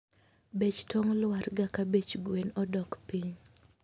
Bech tong lwarga ka bech gwen odok piny